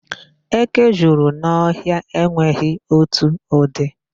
Eke juru n'ọhịa enweghi otu ụdị.